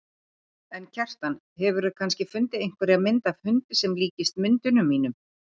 En, Kjartan, hefurðu kannski fundið einhverja mynd af hundi sem líkist myndunum mínum?